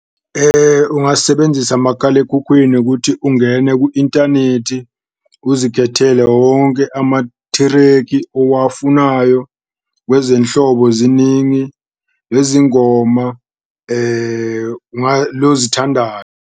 Ungasebenzisa makalekhukhwini kuthi ungene ku-intanethi uzikhethele wonke amathreki owafunayo kwezenhlobo ziningi, ngoma .